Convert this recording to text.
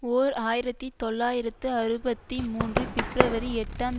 ஓர் ஆயிரத்தி தொள்ளாயிரத்து அறுபத்தி மூன்று பிப்ரவரி எட்டாம்